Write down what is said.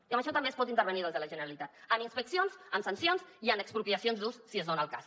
i en això també es pot intervenir des de la generalitat amb inspeccions amb sancions i amb expropiacions d’ús si es dona el cas